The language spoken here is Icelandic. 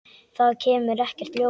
Það kemur ekkert ljós.